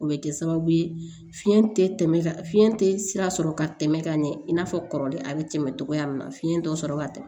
O bɛ kɛ sababu ye fiɲɛ tɛ tɛmɛ fiɲɛ tɛ sira sɔrɔ ka tɛmɛ ka ɲɛ i n'a fɔ kɔrɔlen a bɛ tɛmɛ togoya min na fiɲɛ dɔ sɔrɔ ka tɛmɛ